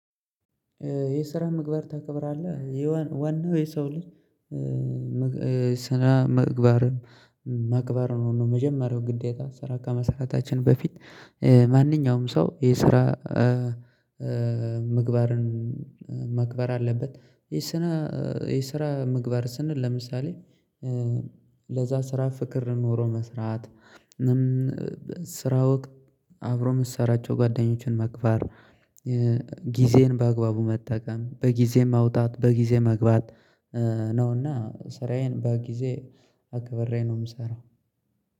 ስነ ምግባር ታከብራለህ የዋናው የሰው ልጅ ስነምግባርም ማክበር ነው። መጀመሪያው ግዴታ ስራ ከመሰራታችን በፊት ማንኛውም ሰው የስራ ምግባርን ማክበር አለበት። የስራ ምግባር ስንል ለምሳሌ ለዛ ስራ ፍቅር ኖሮ መስራት። አብሮ የምትሰራቸው ጓደኞችን መግባት ጊዜን በአግባቡ መጠቀም በጊዜ መውጣት በጊዜ መግባት። ነውና ስራዬን በጊዜ አክብሬ ነው የምሰራው።